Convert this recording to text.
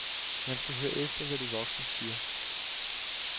Man skal høre efter, hvad de voksne siger.